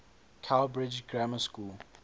cowbridge grammar school